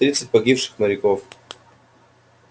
тридцать погибших моряков